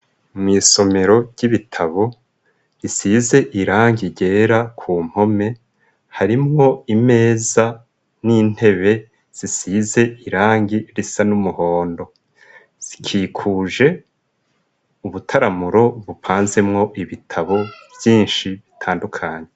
Mwisomero ry'ibitabo risize irangi ryera ku mpome harimwo imeza n'intebe zisize irangi risa n'umuhondo zikikuje ubutaramuro bupanzemwo ibitabo vyinshi bitandukanye.